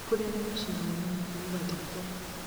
nĩ kũrĩ arĩa macinagwo na mũhũ ũgathikwo